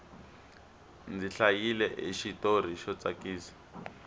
ndzi hlayile xitori xo tsakisa